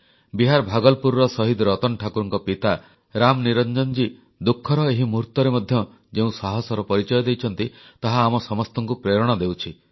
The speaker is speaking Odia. ବିହାର ଭାଗଲପୁରର ଶହୀଦ ରତନ ଠାକୁରଙ୍କ ପିତା ରାମନିରଞ୍ଜନଜୀ ଦୁଃଖର ଏହି ମୁହୂର୍ତ୍ତରେ ମଧ୍ୟ ଯେଉଁ ସାହସର ପରିଚୟ ଦେଇଛନ୍ତି ତାହା ଆମ ସମସ୍ତଙ୍କୁ ପ୍ରେରଣା ଦେଉଛି